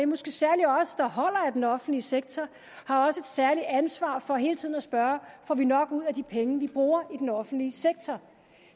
måske særlig os der holder af den offentlige sektor har også et særligt ansvar for hele tiden at spørge om vi får nok ud af de penge vi bruger i den offentlige sektor